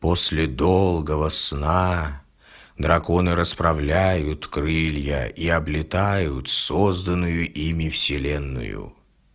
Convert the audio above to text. после долгого сна драконы расправляют крылья и облетают созданную ими вселенную